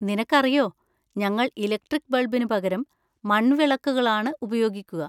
നിനക്കറിയോ, ഞങ്ങൾ ഇലക്ട്രിക്ക് ബൾബിന് പകരം മൺവിളക്കുകളാണ് ഉപയോഗിക്കുക.